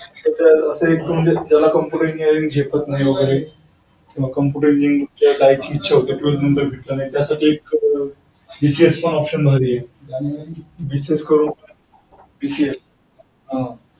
अतिरिक्त म्हणजे ज्याला computer engineering झेपत नाही वगैरे किंवा computer engineering ला जायची इच्छा होते पण भेटलं नाही त्यांना BCS पण option भारी आहे. BCS करून हा.